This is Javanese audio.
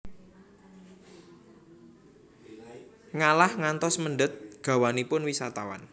Malah ngantos mendhet gawanipun wisatawan